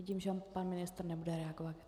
Vidím, že pan ministr nebude reagovat.